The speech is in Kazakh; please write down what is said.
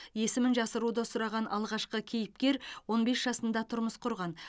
есімін жасыруды сұраған алғашқы кейіпкер он бес жасында тұрмыс құрған